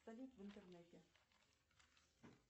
салют в интернете